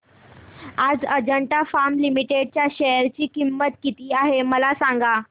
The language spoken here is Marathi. आज अजंता फार्मा लिमिटेड च्या शेअर ची किंमत किती आहे मला सांगा